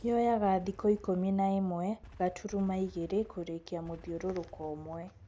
Yoyaga thikũ ikũmi na ĩmwe gaturuma igĩrĩ kũrikia mũthiorũrũko ũmwe.